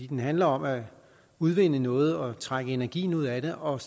den handler om at udvinde noget og trække energien ud af det og